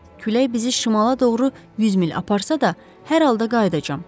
Külək bizi şimala doğru 100 mil aparsa da, hər halda qayıdacam.